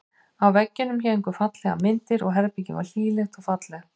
Á veggjunum héngu fallegar myndir og herbergið var hlýlegt og fallegt.